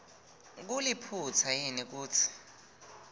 kuliphutsa yini kutsi